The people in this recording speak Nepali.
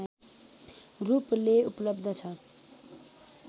रूपले उपलब्ध छ